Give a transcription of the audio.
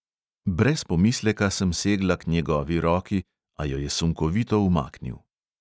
Brez pomisleka sem segla k njegovi roki, a jo je sunkovito umaknil.